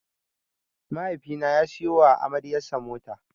Mahaifi na ya siya wa amaryar sa mota.